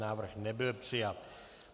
Návrh nebyl přijat.